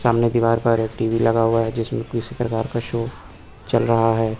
सामने दीवार पर एक टी_वी लगा हुआ है जिसमें किसी प्रकार का शो चल रहा है।